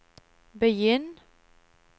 begynn